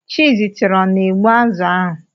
Chizitere ọ na-egbu azụ̀ ahụ?